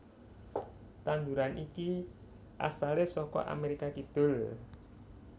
Tanduran iki asalé saka Amérika Kidul